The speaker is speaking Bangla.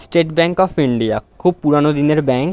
স্টেট ব্যাঙ্ক অফ ইন্ডিয়া খুব পুরানো দিনের ব্যাঙ্ক।